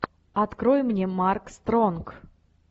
открой мне марк стронг